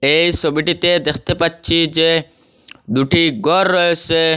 এই ছবিটিতে দেখতে পাচ্ছি যে দুটি ঘর রয়েসে।